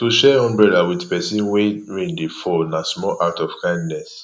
to share umbrella with persin when rain de fall na small act of kindness